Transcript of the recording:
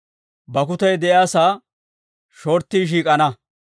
«Bakkutay de'iyaasaa shorttii shiik'ana.»